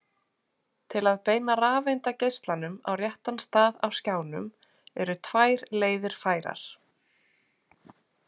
Til að beina rafeindageislanum á réttan stað á skjánum eru tvær leiðir færar.